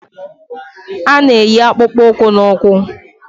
A na-eyi akpụkpọụkwụ n'ụkwụ